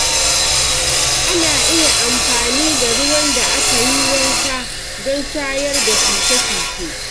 Ana iya amfani da ruwan da aka yi wanka don shayar da shuke-shuke.